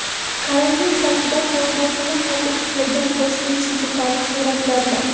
Karantin paytida faoliyatini qayta tiklagan Tashkent City Park suratlarda.